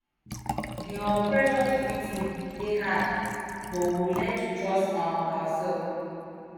di um pressure to fit in dey hard but we go learn to trust um ourself